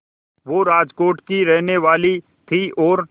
वो राजकोट की ही रहने वाली थीं और